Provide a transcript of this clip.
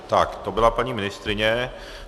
Tak to byla paní ministryně.